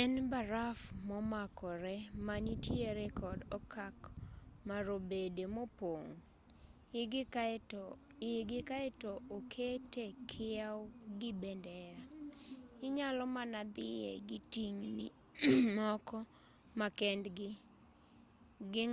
en baraf momakore manitiere kod okak marobede mopong' igi kaeto okete kiew gi bendera inyalo mana dhiye gi tingni moko makendgi gi